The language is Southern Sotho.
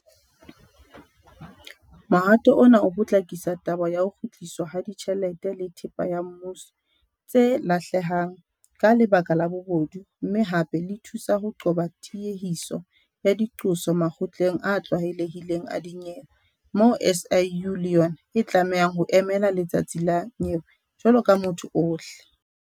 Mohato ona o potlakisa taba ya ho kgutliswa ha tjhelete le thepa ya mmuso tse lahlehang ka lebaka la bobodu mme hape le thusa ho qoba tiehiso ya diqoso makgotleng a tlwaelehileng a dinyewe moo SIU le yona e tlamehang ho emela letsatsi la nyewe jwalo ka motho ohle.